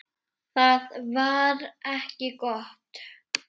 Það var ekki gott.